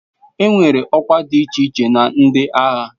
Enwere ọkwa dị iche iche na ndị agha.